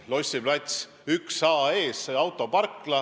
Lossi plats 1a ees on autoparkla.